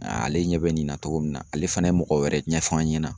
Ale ɲɛ bɛ nin na togo min na ,ale fana ye mɔgɔ wɛrɛ ɲɛfɔ an ɲɛna.